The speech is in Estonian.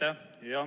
Aitäh!